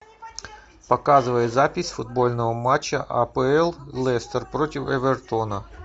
показывай запись футбольного матча апл лестер против эвертона